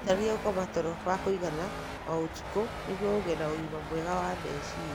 Wĩrutanĩrie gũkoma toro wa kũigana o ũtukũ nĩguo ũgĩe na ũgima mwega wa meciria.